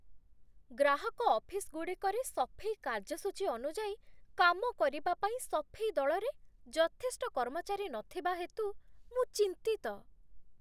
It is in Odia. ଗ୍ରାହକ ଅଫିସଗୁଡ଼ିକରେ ସଫେଇ କାର୍ଯ୍ୟସୂଚୀ ଅନୁଯାୟୀ କାମ କରିବା ପାଇଁ ସଫେଇ ଦଳରେ ଯଥେଷ୍ଟ କର୍ମଚାରୀ ନଥିବା ହେତୁ ମୁଁ ଚିନ୍ତିତ।